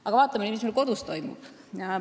Aga vaatame nüüd, mis meil kodus toimub.